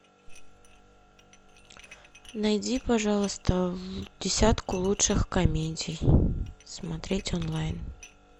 найди пожалуйста десятку лучших комедий смотреть онлайн